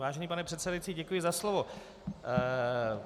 Vážený pane předsedající, děkuji za slovo.